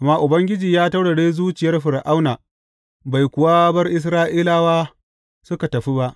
Amma Ubangiji ya taurare zuciyar Fir’auna, bai kuwa bar Isra’ilawa suka tafi ba.